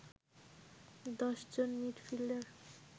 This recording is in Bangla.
১০ জন মিডফিল্ডার